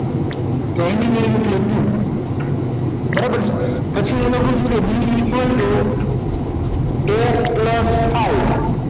બરાબર છે પછી એને કીધું bee =a y